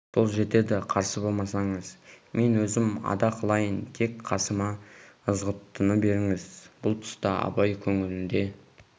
сол жетеді қарсы болмасаңыз мен өзім ада қылайын тек қасыма ызғұттыны беріңіз бұл тұста абай көңілінде